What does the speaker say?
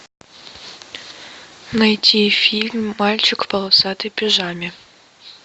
найти фильм мальчик в полосатой пижаме